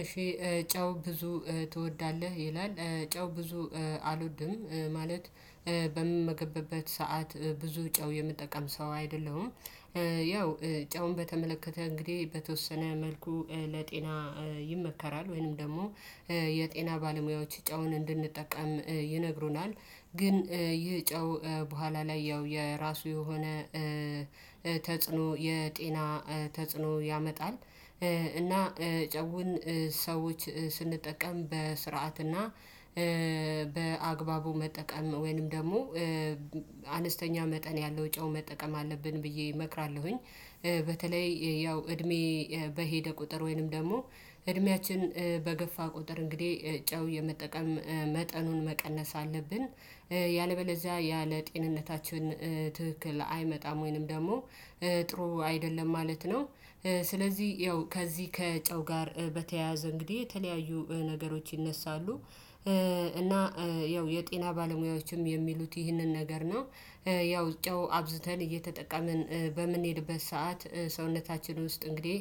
እሺ ጨው ብዙ ትወዳለህ? ይላል ጨው ብዙ አልወድም ማለት በምመገበበት ሰዓት ብዙ ጨው የምጠቀም ሰው አይደለሁም። ያው ጨውን በተመለከተ እንግዲህ በተወሰነ መልኩ ለጤና ይመከራል ወይንም ደግሞ የጤና ባለሙያዎች ጨውን እንድንጠቀም ይነግሩናል። ግን ይህ ጨው በኋላ ላይ ያው የራሱ የሆነ ተጽዕኖ የጤና ተጽዕኖ ያመጣል። እና ጨውን ሰዎች ስንጠቀም በስርዓትና በአግባቡ መጠቀም ወይንም ደግሞ አነስተኛ መጠን ያለው ጨው መጠቀም አለብን ብዬ እመክራለሁኝ። በተለይ ያው እድሜ በሄደ ቁጥር ወይንም ደግሞ እድሜያችን በገፋ ቁጥር እንግዲህ ጨው የመጠቀም መጠኑን መቀነስ አለብን ያለበለዚያ ያ ለጤንነታችን ትክክል አይመጣም ወይንም ደግሞ ጥሩ አይደለም ማለት ነው። ስለዚህ ያው ከዚህ ከጨው ጋር በተያያዘ እንግዲህ የተለያዩ ነገሮች ይነሳሉ። እና ያው የጤና ባለሙያዎችም የሚሉት ይህንን ነገር ነው። ያው ጨው አብዝተን እየተጠቀምን በምንሄድበት ሰዓት ሰውነታችን ውስጥ እንግዲህ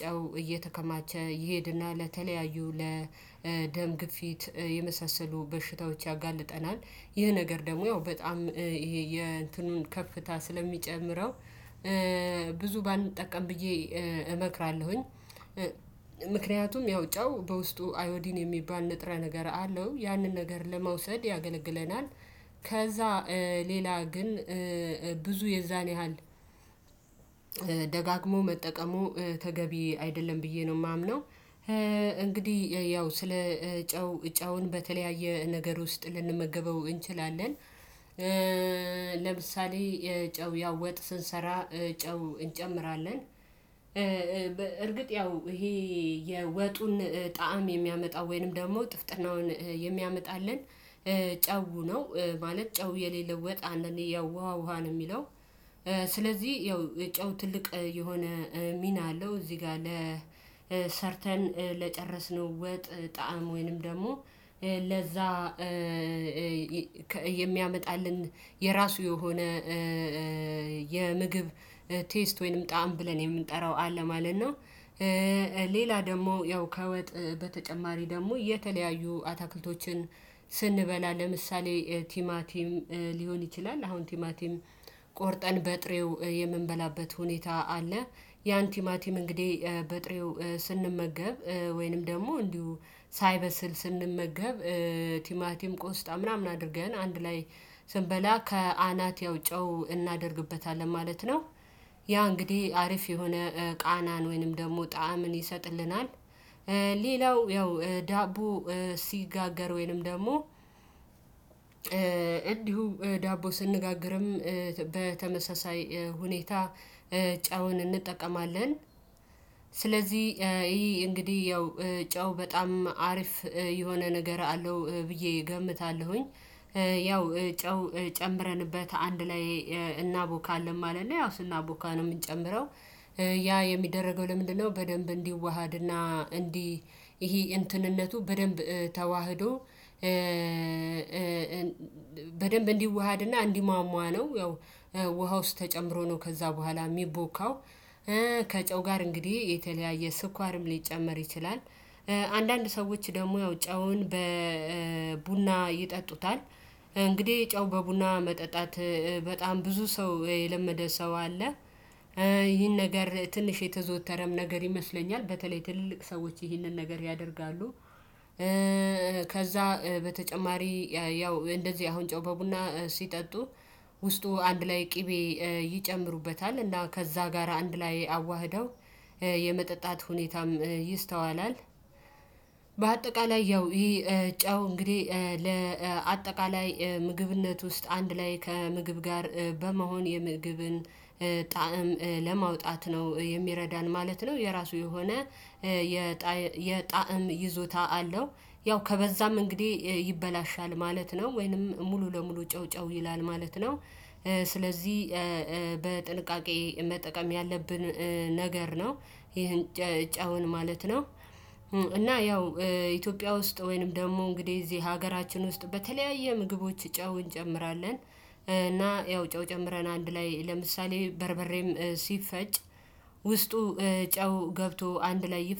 ጨው እየተከማቸ ይሄድና ለተለያዩ ለደም ግፊት የመሳሰሉ በሽታዎች ያጋልጠናል። ይህ ነገር ደግሞ ያው በጣም ይሄ የእንትኑን ከፍታ ስለሚጨምረው ብዙ ባንጠቀም ብዬ እመክራለሁኝ። ምክንያቱም ያው ጨው በውስጡ አዮዲን የሚባል ንጥረ ነገር አለው ያንን ነገር ለመውሰድ ያገለግለናል። ከዛ ሌላ ግን ብዙ የዛን ያህል ደጋግሞ መጠቀሙ ተገቢ አይደለም ብዬ ነው የማምነው። እንግዲህ ያው ስለ ጨው ጨውን በተለያየ ነገር ውስጥ ልንመገበው እንችላለን። ለምሳሌ የጨው ያው ወጥ ስንሰራ ጨው እንጨምራለን። እርግጥ ያው ይሄ የወጡን ጣዕም የሚያመጣው ወይንም ደግሞ ጥፍጥናውን የሚያመጣልን ጨው ነው ማለት ጨው የሌለው ወጥ እኔ ያው ውሃ ውሃ ነው የሚለው። ስለዚህ ያው ጨው ትልቅ የሆነ ሚና አለው። እዚህ ጋር ለሰርተን ለጨረስነው ወጥ ጣዕም ወይንም ደግሞ ለዛ የሚያመጣልን የራሱ የሆነ የምግብ ቴስት ወይንም ጣዕም ብለን የምንጠራው አለ ማለት ነው። ሌላ ደግሞ ያው ከወጥ በተጨማሪ ደግሞ የተለያዩ አታክልቶችን ስንበላ ለምሳሌ ቲማቲም ሊሆን ይችላል። አሁን ቲማቲም ቆርጠን በጥሬው የምንበላበት ሁኔታ አለ። ያን ቲማቲም እንግዲህ በጥሬው ስንመገብ ወይንም ደግሞ እንዲሁ ሳይበስል ስንመገብ ቲማቲም ቆስጣ ምናምን አድርገን አንድ ላይ ስንበላ ከአናት ያው ጨው እናደርግበታለን ማለት ነው። ያ እንግዲህ አሪፍ የሆነ ቃናን ወይንም ደግሞ ጣዕምን ይሰጥልናል። ሌላው ያው ዳቦ ሲጋገር ወይንም ደግሞ እንዲሁ ዳቦ ስንነጋግርም በተመሳሳይ ሁኔታ ጨውን እንጠቀማለን። ስለዚህ ይሄ እንግዲህ ያው ጨው በጣም አሪፍ የሆነ ነገር አለው ብዬ እገምታለሁኝ። ያው ጨው ጨምረንበት አንድ ላይ እናቦካለን ማለት ነው ያው ስናቦካ ነው የምንጨምረው። ያ የሚደረገው ለምንድነው በደንብ እንዲዋሃድና እንዲ ይሄ እንትንነቱ በደንብ ተዋህዶ በደንብ እንዲዋሃድና እንዲሟሟ ነው ያው ውሃ ውስጥ ተጨምሮ ነው ከዛ በኋላ የሚቦካው። ከጨው ጋር እንግዲህ የተለያየ ስኳርም ሊጨመር ይችላል። አንዳንድ ሰዎች ደግሞ ያው ጨውን በቡና ይጠጡታል። እንግዲህ ጨው በቡና መጠጣት በጣም ብዙ ሰው የለመደ ሰው አለ። ይህን ነገር ትንሽ የተዘወተረም ነገር ይመስለኛል በተለይ ትልልቅ ሰዎች ይህንን ነገር ያደርጋሉ። ከዛ በተጨማሪ ያው እንደዚህ አሁን ጨው በቡና ሲጠጡ ውስጡ አንድ ላይ ቅቤ ይጨምሩበታል እና ከዛ ጋር አንድ ላይ አዋህደው የመጠጣት ሁኔታም ይስተዋላል። በአጠቃላይ ያው ይሄ ጫው እንግዲህ ለአጠቃላይ ምግብነት ውስጥ አንድ ላይ ከምግብ ጋር በመሆን የምግብን ጣዕም ለማውጣት ነው የሚረዳን ማለት ነው። የራሱ የሆነ የጣዕም ይዞታ አለው። ያው ከበዛም እንግዲህ ይበላሻል ማለት ነው ወይንም ሙሉ ለሙሉ ጨው ጨው ይላል ማለት ነው። ስለዚህ በጥንቃቄ መጠቀም ያለብን ነገር ነው ይሄን ጨውን ማለት ነው። እና ያው ኢትዮጵያ ውስጥ ወይንም ደግሞ እንግዲህ እዚህ ሀገራችን ውስጥ በተለያየ ምግቦች ጨው እንጨምራለን እና ያው ጨው ጨምረን አንድ ላይ ለምሳሌ በርበሬም ሲፈጭ ውስጡ ጨው ገብቶ አንድ ላይ ይፈጭ